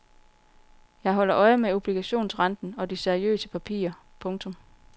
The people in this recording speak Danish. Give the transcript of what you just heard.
Jeg holder øje med obligationsrenten og de seriøse papirer. punktum